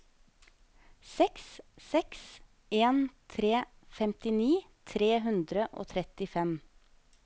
seks seks en tre femtini tre hundre og trettifem